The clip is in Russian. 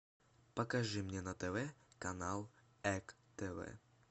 покажи мне на тв канал эк тв